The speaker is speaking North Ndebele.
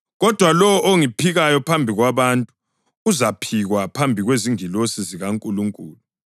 Kodwa lowo ongiphikayo phambi kwabantu uzaphikwa phambi kwezingilosi zikaNkulunkulu.